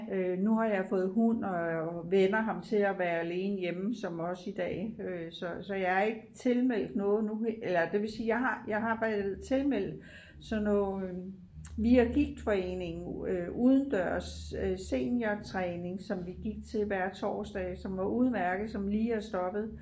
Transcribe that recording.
Øh nu har jeg fået hund og vænner ham til at være alene hjemme som også i dag øh så så jeg er ikke tilmeldt noget nu eller det vil sige jeg har jeg har været tilmeldt sådan noget via gigtforeningen udendørs øh seniortræning som vi gik til hver torsdag som var udmærket som lige er stoppet